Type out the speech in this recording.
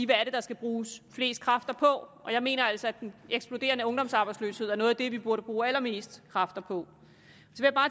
det er der skal bruges flest kræfter på og jeg mener altså at den eksploderende ungdomsarbejdsløshed er noget at det vi burde bruge allerflest kræfter på